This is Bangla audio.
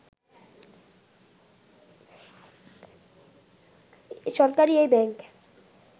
সরকারি এই ব্যাংক